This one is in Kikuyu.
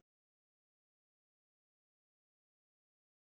Mwana ũyũ ararìrio nĩ kiĩ